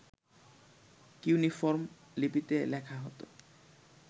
cuneiform লিপিতে লেখা হত